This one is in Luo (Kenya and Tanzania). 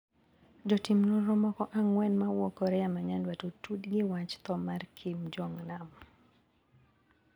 Jotim nonro moko ang`wen mawuok Korea ma nyandwat otudi gi wach tho mar Kim Jong nam.